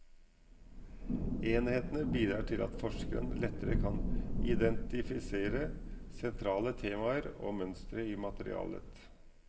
Enhetene bidrar til at forskeren lettere kan identifisere sentrale temaer og mønstre i materialet.